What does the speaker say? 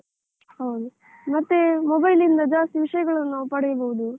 ಹೌದು. ಮತ್ತೆ mobile ಇಂದ ಜಾಸ್ತಿ ವಿಷಯಗಳನ್ನ ನಾವ್ ಪಡೆಯಬಹುದು.